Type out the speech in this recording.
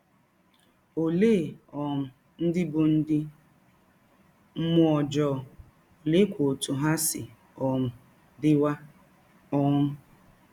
Ọlee um ndị bụ ndị mmụọ ọjọọ, ọleekwa ọtụ ha si um dịwa um?